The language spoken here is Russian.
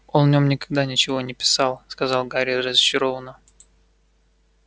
он в нем никогда ничего не писал сказал гарри разочарованно